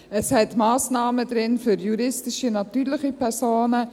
Es enthält Massnahmen für juristische und natürliche Personen.